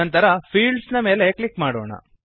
ನಂತರ ಫೀಲ್ಡ್ಸ್ ನ ಮೇಲೆ ಕ್ಲಿಕ್ ಮಾಡೋಣ